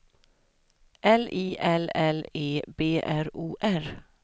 L I L L E B R O R